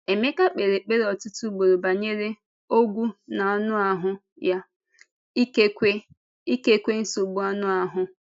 Emeka kpèrè ekpere ọtụtụ ugboro banyere “ọ́gwụ n’ànụ ahụ” ya, ikekwe ikekwe nsogbu anụ ahụ.